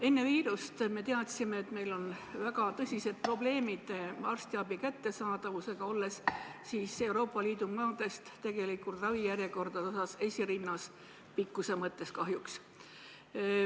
Enne viirust me teadsime, et meil on väga tõsised probleemid arstiabi kättesaadavusega, olles Euroopa Liidu maade seas ravijärjekordade poolest esirinnas, pikkuse mõttes kahjuks.